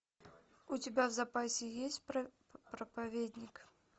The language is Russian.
у тебя в запасе есть проповедник